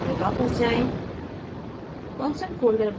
अब cylinder folder में वापस जाएँ